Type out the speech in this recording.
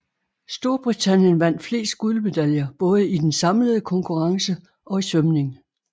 Storbritannien vandt flest guldmedaljer både i den samlede konkurrence og i svømning